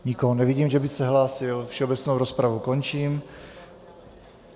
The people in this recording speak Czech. Nikoho nevidím, že by se hlásil, všeobecnou rozpravu končím.